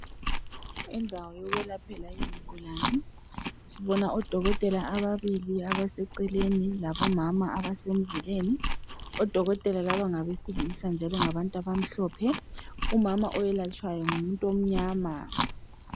Indawo yokwelaphela izigulane sibona odokotela ababili abaseceleni labomama abasemzileni odokotela laba ngabesilisa njalo ngabantu abamhlophe umama owelatshwayo ngumuntu onyama